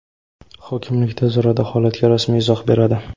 hokimlik tez orada holatga rasmiy izoh beradi.